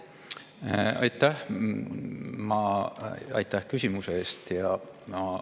Aitäh küsimuse eest!